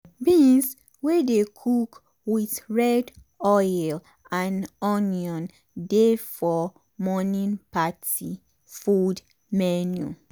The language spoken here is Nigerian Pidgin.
beans wey dey cook with red oil and onion dey for morning party food menu.